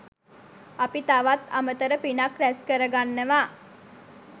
අපි තවත් අමතර පිනක් රැස් කරගන්නවා.